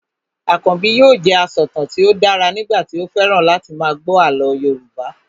Akànbi yóò jẹ asọ̀tàn tí ó dára nígbà tí ó fẹ́ràn láti máa gbọ́ àlọ́ Yorùbá